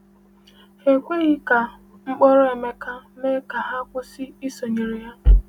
Ha ekweghị ka mkpọrọ Emeka mee ka ha kwụsị isonyere ya.